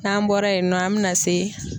N'an bɔra yen nɔ an bɛna se